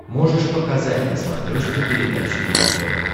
можешь показать на смотрешке передачу его тв